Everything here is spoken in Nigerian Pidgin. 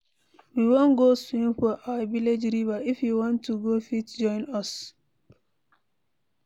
We wan go swim for our village river, if you want you go fit join us.